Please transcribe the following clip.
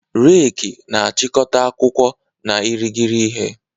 Reki na-achịkọta akwụkwọ na irighiri ihe.